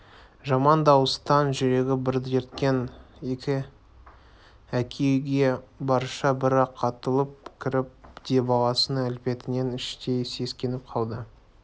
жаман дауыстан жүрегі дір еткен әке үйге барысша бір-ақ атылып кірді де баласының әлпетінен іштей сескеніп қалды